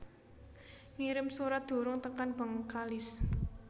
Ngirim surat durung tekan Bengkalis